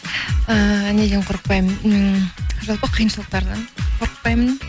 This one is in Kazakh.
ііі неден қорықпаймын ммм жалпы қиыншылықтардан қорықпаймын